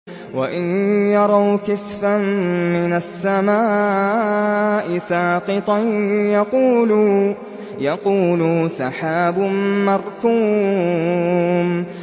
وَإِن يَرَوْا كِسْفًا مِّنَ السَّمَاءِ سَاقِطًا يَقُولُوا سَحَابٌ مَّرْكُومٌ